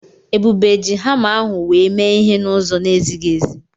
Ebube ji hama ahụ wee mee ihe n'ụzọ na-ezighi ezi.